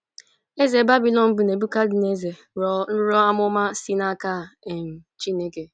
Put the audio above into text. Eze Babilọn bụ́ Nebuchadnezzar rọọ nrọ amụma si n'aka um Chineke.